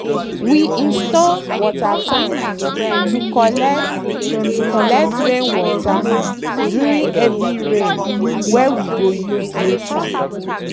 we install water tank to collect to collect rainwater during heavy rain wey we go use later.